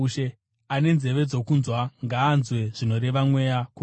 Ane nzeve dzokunzwa, ngaanzwe zvinoreva Mweya kukereke.”